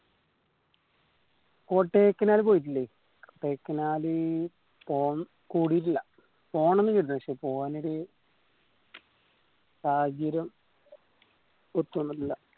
കൊടയ്ക്കനാൽ പോയിക്കില്ലെ കൊടയ്ക്കനാൽ പോണം കൂടിട്ടില്ല പോണം എന്ന് പക്ഷെ പോകാനൊരു സാഹചര്യം ഒത്തുവന്നിട്ടില്ല